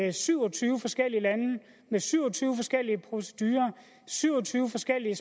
i syv og tyve forskellige lande med syv og syv og tyve forskellige